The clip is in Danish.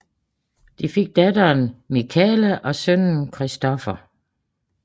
De fik datteren Michala og sønnen Christopher